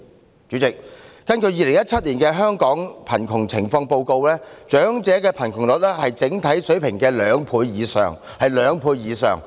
代理主席，根據《2017年香港貧窮情況報告》，長者貧窮率是整體水平的兩倍以上。